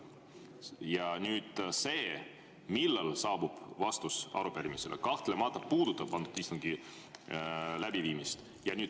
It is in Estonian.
Ja see, millal saabub vastus arupärimisele, kahtlemata puudutab antud istungi läbiviimist.